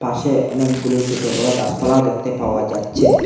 পাশে অনেকগুলো ছোট বড় গাছপালাও দেখতে পাওয়া যাচ্ছে।